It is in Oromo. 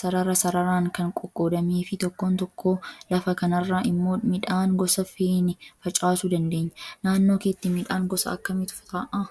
sarara sararaan kan qoqqoodamee fi tokkoon tokkoo lafa kanaarra immoo midhaan gosa feene facaasuu dandeenya. Naannoo keetti midhaan gosa akkamiitu ta'aa?